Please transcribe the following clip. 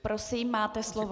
Prosím, máte slovo.